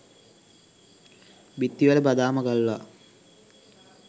බිත්තිවල බදාම ගල්වා